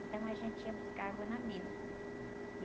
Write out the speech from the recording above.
Então, a gente ia buscar água na mina.